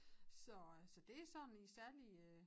Så så det sådan i særlige øh